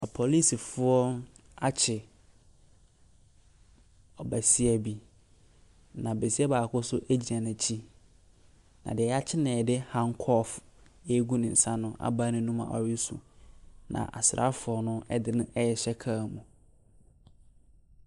Apolisifoɔ akye ɔbasia bi, na basia baako nso di n'akyi, na deɛ wɔakye no de handcuff agu ne nsa no abae n'anom a ɔresu, na asraafoɔ no de no rehyɛ kaa mu.